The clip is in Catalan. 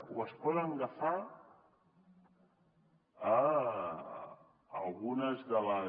o es poden agafar algunes de les